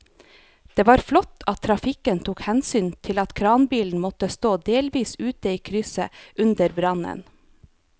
Det var flott at trafikken tok hensyn til at kranbilen måtte stå delvis ute i krysset under brannen.